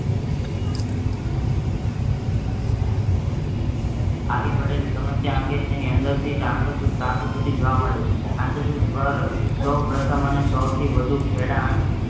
આવી પડાળી સમસ્યા અંગે તેની અંદર તીજ અંતર જોવા મેડ છે. સોપ્રથમ અને સાવથી ખેડાણ